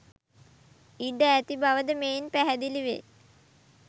ඉඩ ඇති බවද මෙයින් පැහැදිලි වේ.